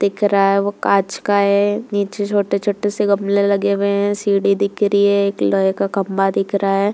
दिख रहा है वह कांच का है। नीचे छोटे-छोटे से गामले लगे हुए हैं। सीढ़ी दिख रही है एक लोहे का खम्बा दिख रहा है।